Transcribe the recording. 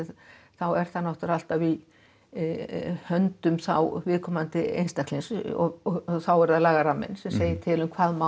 þá er það alltaf í höndum viðkomandi einstaklings þá er það lagaramminn sem segir til um hvað má